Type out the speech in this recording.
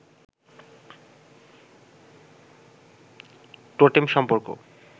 টোটেম-সম্পর্ক